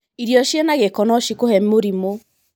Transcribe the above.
Irio cina gĩko no cikũhe mũrimũ.